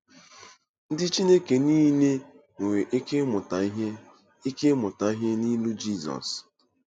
Ndị Chineke niile nwere ike ịmụta ihe ike ịmụta ihe n’ilu Jizọs.